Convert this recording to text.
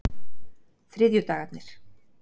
þriðjudagarnir